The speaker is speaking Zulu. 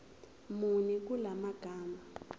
muni kula magama